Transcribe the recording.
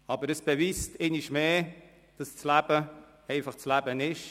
Aber es beweist einmal mehr, dass das Leben einfach das Leben ist.